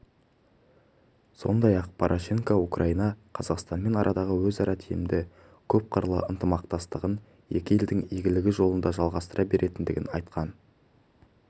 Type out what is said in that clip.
сондай-ақ порошенко украина қазақстанмен арадағы өзара тиімді көпқырлы ынтымақтастығын екі елдің игілігі жолында жалғастыра беретінін айтқан